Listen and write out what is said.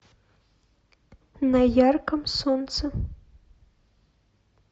на ярком солнце